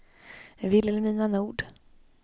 Vilhelmina Nord